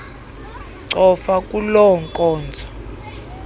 cofa kuloo nkonzo